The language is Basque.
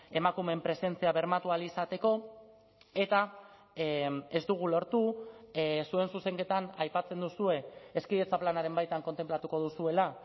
emakumeen presentzia bermatu ahal izateko eta ez dugu lortu zuen zuzenketan aipatzen duzue hezkidetza planaren baitan kontenplatuko duzuela